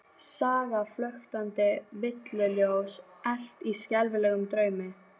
Sagan flöktandi villuljós elt í skelfilegum draumi?